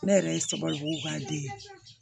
Ne yɛrɛ ye sabalibugu ka den ye